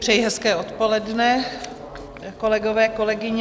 Přeji hezké odpoledne, kolegové, kolegyně.